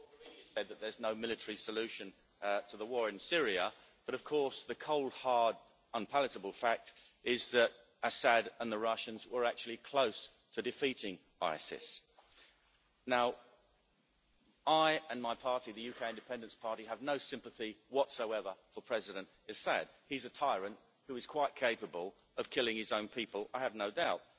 Mr President, Ms Mogherini said that there is no military solution to the war in Syria, but of course the cold, hard, unpalatable fact is that Assad and the Russians were actually close to defeating ISIS. I and my party, the UK Independence Party, have no sympathy whatsoever for President Assad he is a tyrant who is quite capable of killing his own people, I have no doubt.